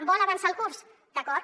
vol avançar el curs d’acord